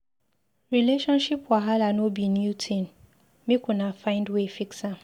Relationship wahala no be new tin, make una find way fix am.